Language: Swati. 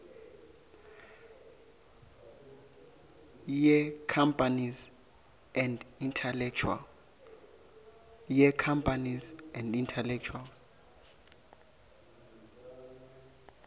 yecompanies and intellectual